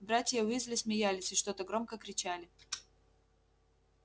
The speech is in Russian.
братья уизли смеялись и что-то громко кричали